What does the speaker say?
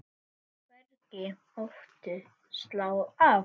Hvergi mátti slá af.